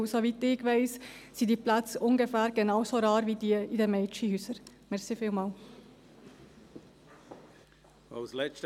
Denn soweit ich weiss, sind die Plätze ungefähr genau so rar wie jene in den Mädchenhäusern.